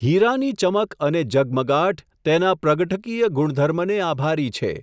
હિરાની ચમક અને ઝગમગાટ તેના પ્રગટકીય ગુણધર્મ ને આભારી છે.